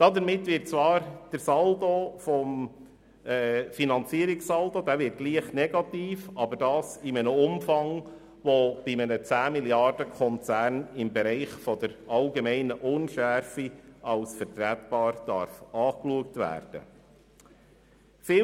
Damit wird zwar der Finanzierungssaldo negativ, aber das in einem Umfang, der bei einem 10-Milliarden-Konzern im Bereich der allgemeinen Unschärfe als vertretbar angeschaut werden darf.